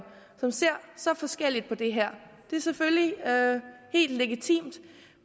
som ser så forskelligt på det her det er selvfølgelig helt legitimt